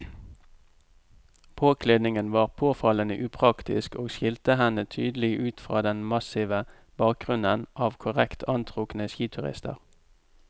Påkledningen var påfallende upraktisk og skilte henne tydelig ut fra den massive bakgrunnen av korrekt antrukne skiturister.